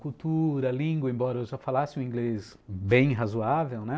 Cultura, língua, embora eu já falasse o inglês bem razoável, né?